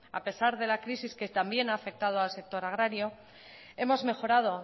a pesar de la crisis que también a afectado al sector agrario hemos mejorado